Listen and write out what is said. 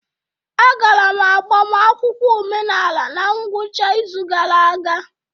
Agara m agbamakwụkwọ omenala na ngwụcha izu gara aga.